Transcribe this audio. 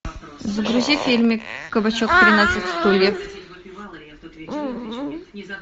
загрузи фильм кабачок тринадцать стульев